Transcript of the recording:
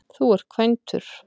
Þú ert kvæntur